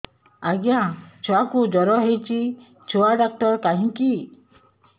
ଆଜ୍ଞା ଛୁଆକୁ ଜର ହେଇଚି ଛୁଆ ଡାକ୍ତର କାହିଁ କି